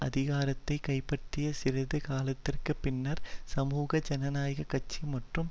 அதிகாரத்தை கைபற்றிய சிறிது காலத்திற்கு பின்னர் சமூக ஜனநாயக கட்சி மற்றும்